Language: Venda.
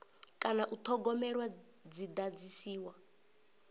kana u thogomelwa dzi dadziwa